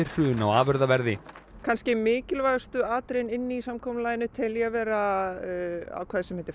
hrun á afurðaverði kannski mikilvægustu atriðin inni í samkomulaginu tel ég vera ákvæði sem heitir